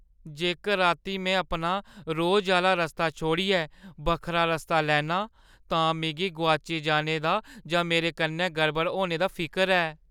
जेकर रातीं में अपना रोजै आह्‌ला रस्ता छोड़ियै बक्खरा रस्ता लैन्ना आं तां मिगी गोआची जाने दा जां मेरे कन्नै गड़बड़ होने दा फिकर ऐ ।